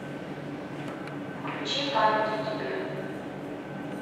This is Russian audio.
включи память о тебе